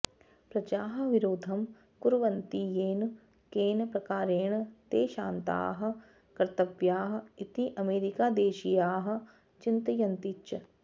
प्रजाः विरोधं कुर्वन्ति येन केन प्रकारेण ते शान्ताः कर्तव्याः इति अमेरीकादेशीयाः चिन्तयन्ति च